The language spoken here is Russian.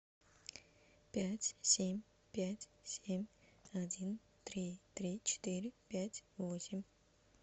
пять семь пять семь один три три четыре пять восемь